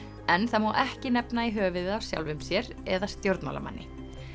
en það má ekki nefna í höfuðið á sjálfum sér eða stjórnmálamanni